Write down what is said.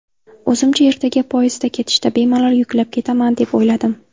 O‘zimcha ertaga poyezdda ketishda bemalol yuklab ketaman deb o‘yladim.